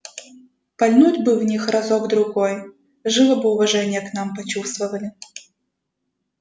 пальнуть бы в них разок другой живо бы уважение к нам почувствовали